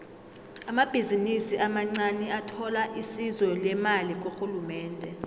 amabhizinisi amancaniathola isizo lemali kurhulumende